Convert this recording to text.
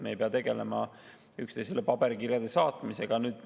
Me ei pea tegelema üksteisele paberkirjade saatmisega.